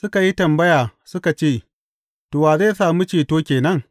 Suka yi tambaya suka ce, To, wa zai sami ceto ke nan?